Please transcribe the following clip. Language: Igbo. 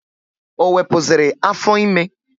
Ọ wepụziri afọ ime?